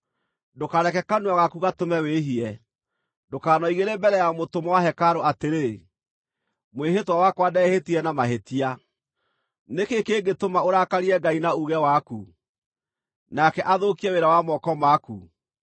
Ndũkareke kanua gaku gatũme wĩhie. Ndũkanoigĩre mbere ya mũtũmwo wa hekarũ atĩrĩ, “Mwĩhĩtwa wakwa ndehĩtire na mahĩtia.” Nĩ kĩĩ kĩngĩtũma ũrakarie Ngai na uuge waku, nake athũkie wĩra wa moko maku?